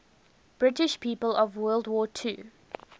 british people of world war ii